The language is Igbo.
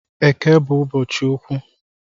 Eke bu ụbọchị ukwu